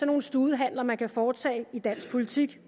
nogle studehandler man kan foretage i dansk politik